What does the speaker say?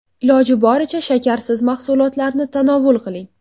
Iloji boricha shakarsiz mahsulotlarni tanovul qiling.